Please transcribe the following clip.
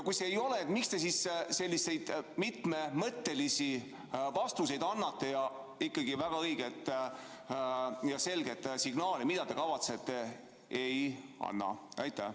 Kui ei, siis miks te selliseid mitmemõttelisi vastuseid annate, aga õiget ja selget signaali, mida te kavatsete, ei anna?